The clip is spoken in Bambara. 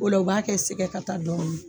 Ola u b'a kɛ sɛgɛ ka taa dɔ ye.